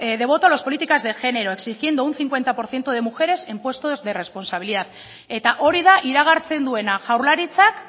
de voto en las políticas de género exigiendo un cincuenta por ciento de mujeres en puestos de responsabilidad eta hori da iragartzen duena jaurlaritzak